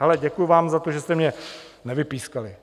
Hele, děkuju vám za to, že jste mě nevypískali.